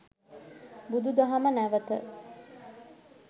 බුදුදහම නැවත